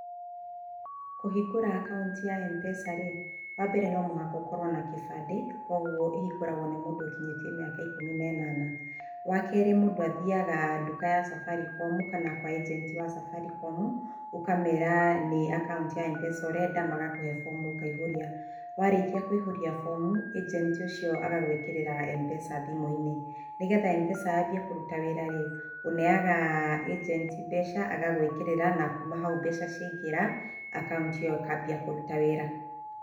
Kũhingũra akaunti ya M-pesa rĩ, wa mbere no mũhaka ũkorwo na kĩbadĩ koguo ĩhingũragwo nĩ mũndũ ũkinyĩtie mĩaka ĩkũmi na ĩnana. Wa kerĩ mũndũ athiyaga nduka ya Safaricom kana kwa agenti wa Safaricom ũkamera nĩ akaunti ya M-pesa ũrenda, magakũhe fomu ũkaihũria, warĩkia kũihuria fomu agenti ũcio agagwikĩrĩra M-pesa thimũ-inĩ. Nĩgetha M-pesa yanjie kũruta wĩra rĩ ũneyaga agenti mbeca agagwikĩrĩra na kuma hau mbeca ciaingĩra, akaunti ĩyo ĩkambia kũruta wĩra.